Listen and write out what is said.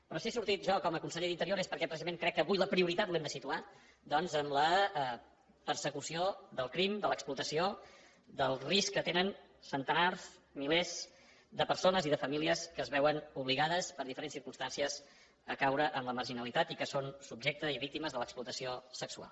però si he sortit jo com a conseller d’interior és perquè precisament crec que avui la prioritat l’hem de situar doncs en la persecució del crim de l’explotació del risc que tenen centenars milers de persones i de famílies que es veuen obligades per diferents circumstàncies a caure en la marginalitat i que són subjectes i víctimes de l’explotació sexual